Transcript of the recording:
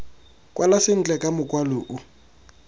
kwala sentle ka mokwalo o